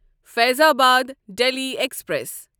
Faizabad Delhi express